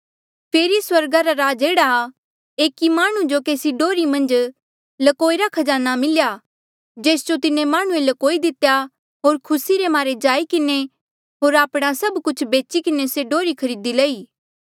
फेरी स्वर्गा रा राज एह्ड़ा आ एकी माह्णुं जो केसी डोर्ही मन्झ ल्कोई रा खजाना मिल्या जेस जो तिन्हें माह्णुंऐ ल्कोई दितेया होर खुसी रे मारे जाई किन्हें होर आपणा सब कुछ बेची किन्हें से डोर्ही खरीदी लई